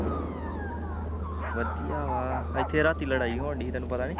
ਵਧੀਆ ਵਾਂ, ਇੱਥੇ ਰਾਤੀ ਲੜਾਈ ਹੋਣ ਡਈ ਤੇਨੂੰ ਪਤਾ ਨੀ